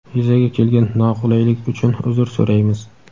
Yuzaga kelgan noqulaylik uchun uzr so‘raymiz.